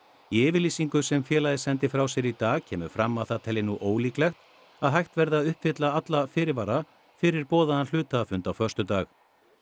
í yfirlýsingu sem félagið sendi frá sér í dag kemur fram að það telji nú ólíklegt að hægt verði að uppfylla alla fyrirvara fyrir boðaðan hluthafafund á föstudag